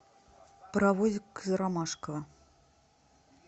паровозик из ромашково